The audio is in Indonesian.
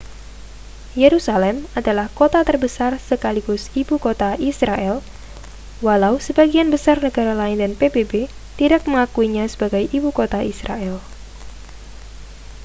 yerusalem adalah kota terbesar sekaligus ibu kota israel walau sebagian besar negara lain dan pbb tidak mengakuinya sebagai ibu kota israel